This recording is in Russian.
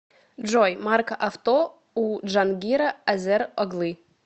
джой марка авто у джангира азер оглы